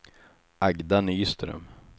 Agda Nyström